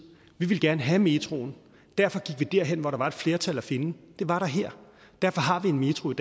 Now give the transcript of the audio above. vi ville gerne have metroen derfor gik vi derhen hvor der var et flertal at finde det var der her og derfor har vi en metro i